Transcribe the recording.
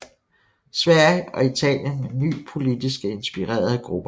Sverige og Italien med nye politisk inspirerede grupper